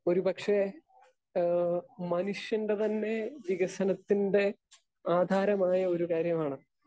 Speaker 2 ഒരുപക്ഷേ ഏഹ് മനുഷ്യൻ്റെ തന്നെ വികസനത്തിൻ്റെ ആധാരമായ ഒരു കാര്യമാണ്.